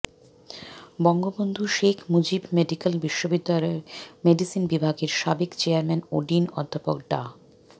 Bangabandhu Sheikh Mujib medical বিশ্ববিদ্যালয়ের medicine বিভাগের সাবেক চেয়ারম্যান ও ডিন অধ্যাপক ডা